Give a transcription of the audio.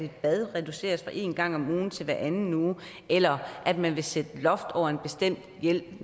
at bad reduceres fra en gang om ugen til hver anden uge eller at man vil sætte et loft over en bestemt hjælp